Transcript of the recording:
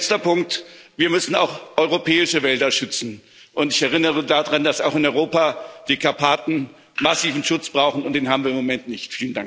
Ein letzter Punkt Wir müssen auch europäische Wälder schützen, und ich erinnere daran, dass auch in Europa die Karpaten massiven Schutz brauchen, und den haben wir im Moment nicht.